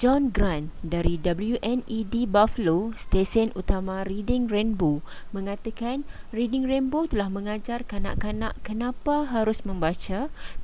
john grant dari wned buffalo stesen utama reading rainbow mengatakan reading rainbow telah mengajar kanak-kanak kenapa harus membaca,...